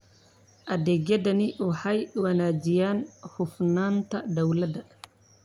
Adeegyadani waxay wanaajiyaan hufnaanta dawladda.